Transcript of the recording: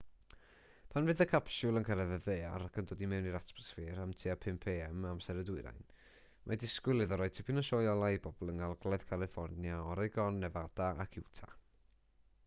pan fydd y capsiwl yn cyrraedd y ddaear ac yn dod i mewn i'r atmosffer am tua 5am amser y dwyrain mae disgwyl iddo roi tipyn o sioe olau i bobl yng ngogledd califfornia oregon nefada ac utah